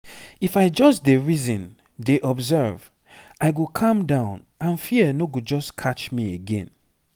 if i just dey reason dey observe i go calm down and fear no go just catch me again